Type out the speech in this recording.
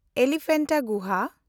Elephanta ᱜᱩᱦᱟ